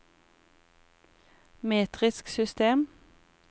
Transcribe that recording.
metrisk system